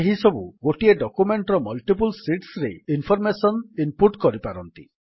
ଏହିସବୁ ଗୋଟିଏ ଡକ୍ୟୁମେଣ୍ଟ୍ ର ମଲ୍ଟିପୁଲ୍ ଶୀଟ୍ସରେ ଇନଫର୍ମେଶନ୍ ଇନପୁଟ୍ କରିପାରନ୍ତି